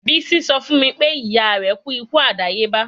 Bisi sọ fun mi pe iya rẹ ku iku adayeba